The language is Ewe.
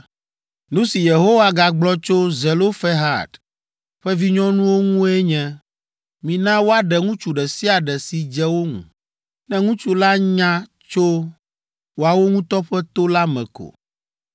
Nu si Yehowa gagblɔ tso Zelofehad ƒe vinyɔnuwo ŋue nye, ‘Mina woaɖe ŋutsu ɖe sia ɖe si dze wo ŋu, ne ŋutsu la nya tso woawo ŋutɔ ƒe to la me ko.